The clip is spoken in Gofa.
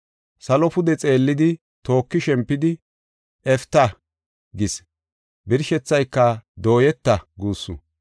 Salo pude xeellidi, tooki shempidi, “Eftah” gis. Birshethayka “Dooyeta” guussu.